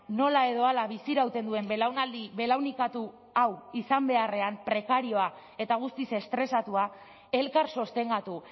nola edo hala bizirauten duen belaunaldi belaunikatu hau izan beharrean prekarioa eta guztiz estresatua elkar sostengatu